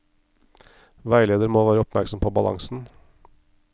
Veileder må være oppmerksom på balansen.